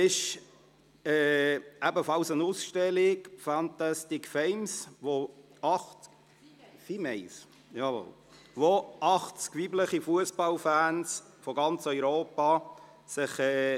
Zudem findet eine Ausstellung mit dem Titel «fan.tastic females» statt, wo 80 weibliche Fussballfans aus ganz Europa zu Wort kommen.